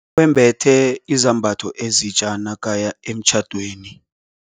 Wembethe izambatho ezitja nakaya emtjhadweni.